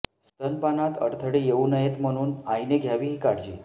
स्तनपानात अडथळे येऊ नयेत म्हणून आईने घ्यावी ही काळजी